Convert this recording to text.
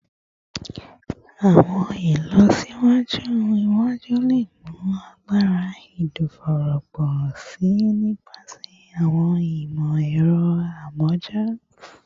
Awọn ilọsiwaju iwaju le mu agbara ẹdọfóró pọ si nipasẹ awọn imọ-ẹrọ amọja